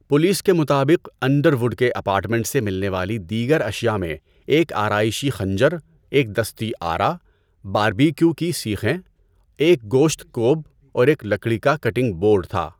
Police کے مطابق، Underwood کے اپارٹمنٹ سے ملنے والی دیگر اشیاء میں ایک آرائشی خنجر، ایک دستی آرا، باربکیو کی سیخیں، ایک گوشت کوب اور ایک لکڑی کا کٹنگ بورڈ تھا۔